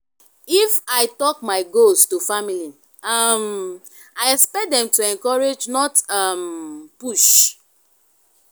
if i talk my goals to family um i expect dem to encourage not um push.